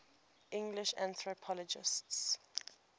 english anthropologists